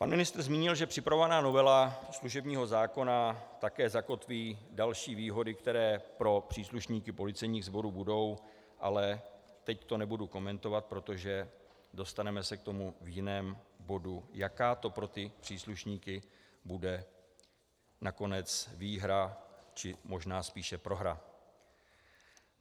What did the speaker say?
Pan ministr zmínil, že připravovaná novela služebního zákona také zakotví další výhody, které pro příslušníky policejních sborů budou, ale teď to nebudu komentovat, protože dostaneme se k tomu v jiném bodu, jaká to pro ty příslušníky bude nakonec výhra, či možná spíše prohra.